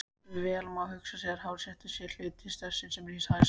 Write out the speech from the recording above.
Vel má hugsa sér að hástertur sé sá hluti stertsins sem rís hæst.